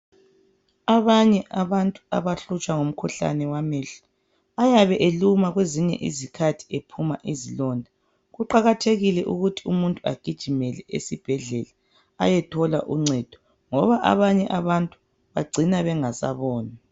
Abanye abantu abahlutshwa ngumkhuhlane wamehlo ayabe eluma kwezinye izikhathi ephuma izilonda. Kuqakathekile ukuthi umuntu agijimele esibhedlela ayethola uncedo ngoba abanye abantu bagcina bengasaboni.